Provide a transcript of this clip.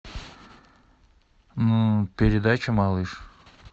передача малыш